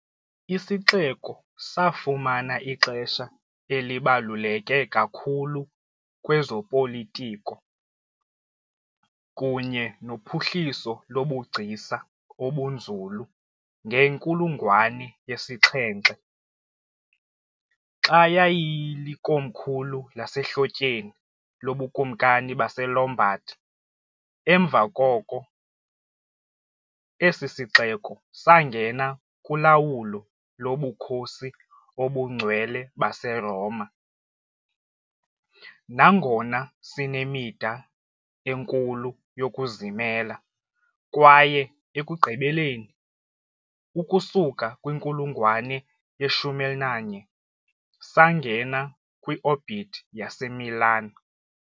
Isixeko safumana ixesha elibaluleke kakhulu kwezopolitiko kunye nophuhliso lobugcisa obunzulu ngenkulungwane yesi - 7, xa yayilikomkhulu lasehlotyeni loBukumkani baseLombard, emva koko esi sixeko sangena kulawulo loBukhosi obuNgcwele baseRoma, nangona sinemida enkulu yokuzimela, kwaye ekugqibeleni, ukusuka kwinkulungwane ye-11, sangena kwi-orbit yaseMilan.